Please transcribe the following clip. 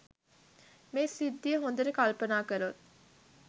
මේ සිද්ධිය හොඳට කල්පනා කළොත්